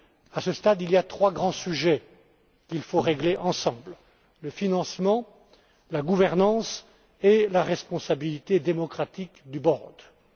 À ce stade, il y a trois grands sujets qu'il faut régler ensemble le financement, la gouvernance et la responsabilité démocratique du conseil de résolution unique.